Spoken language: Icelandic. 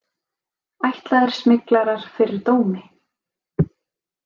Ætlaðir smyglarar fyrir dómi